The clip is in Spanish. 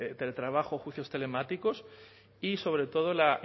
teletrabajo juicios telemáticos y sobre todo la